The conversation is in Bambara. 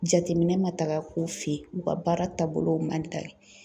Jateminɛ ma taga k'u fɛ yen , u ka baara taabolo man